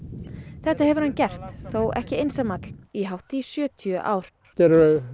þetta hefur hann gert þó ekki einsamall í hátt í sjötíu ár þetta eru